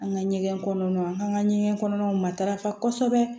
An ka ɲɛgɛn kɔnɔ an ka ɲɛgɛn kɔnɔw matarafa kosɛbɛ